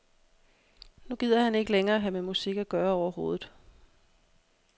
Nu gider han ikke længere have med musik at gøre overhovedet.